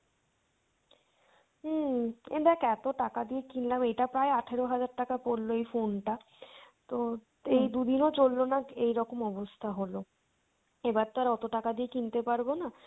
হুম দ্যাখ এতো টাকা দিয়ে কিনলাম এটা প্রায় আঠারো হাজার টাকা পড়লো এই phone টা, তো এই দুদিনও চললোনা এইরকম অবস্থা হলো, এবার তো আর অতো টাকা দিয়ে কিনতে পারবো না,